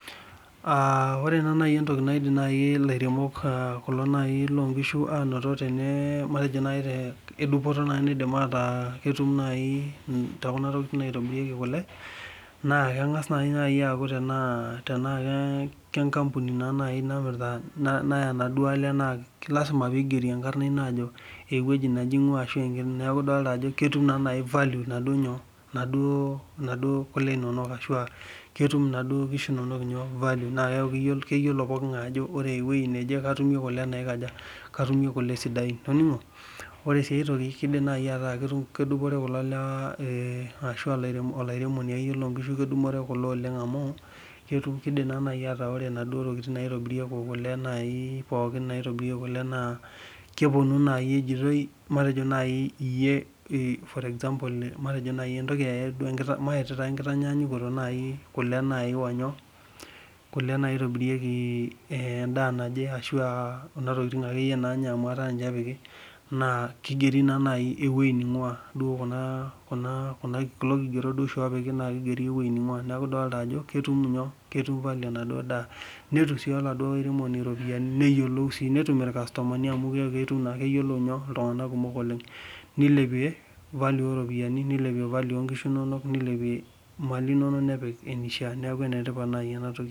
Oree naa naji entoki naidim ilairemok naa naji loonkishu matejo nayi tedupoto nedim aata ketum nayii tookuna tokitin naitobirieki kule naa keng'as nayii aaku tenaa kenkampuni naaa nayii namirita naya naaduo ale naa lasima pee igeri enkarna enye naa ajo eweji naje eing'wa ashuu neeku idolita naa ajo value naaduo kule inonok ashuu ketum naaduo kishu inono neeku keyuolo pokii ng'ae ajoo eweji natumie kule naikaja katumie kule sidain itoning'o, oree sii aitoki keidim sii ataa kedupore kulo lewa arashu aa olairemoni iyolo nkishu kedupore kule oleng' amuu ketum keidim naa naaji ataainaduoo tokitin naitobirie nepuo kule naa keponu naayi ejitoi matejoo nayii iye maeta enkitanyanyukoto nayii kule nayii onyoo, kule naitobirieki endaa naje arashuu aa Kuna tokitin ake yiee nayae amuu ataa niche epiki naa keigeri naa naji ewei neing'wa duo kulo kigerot oishii oopiki na keigeri neeku idolita ajo ketum value enaduo daa, netum sii oladuo airemoni iropiyiani neyiolou sii netum irkastomani amuu keeku ketum naa keyiolo iltung'anak kumok oleng' neilepia value oo iropiyiani ooo nkishu inono neilepie imali inono nepik eneishaa nekuu enetipat nayii ena toki.